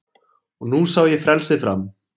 Og nú sá ég frelsið fram